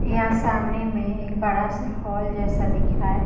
यहाँ सामने में एक बड़ा सा हॉल जैसा दिख रहा है।